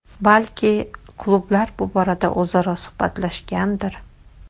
Balki, klublar bu borada o‘zaro suhbatlashgandir.